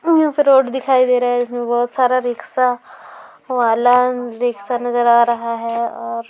यहां से रोड दिखाई दे रहा है इसमें बहुत सारा रिक्शा बाला रिकशा नजर आ रहा है और--